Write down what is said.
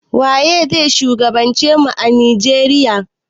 Waze shugaban ce mu a Nijeriya?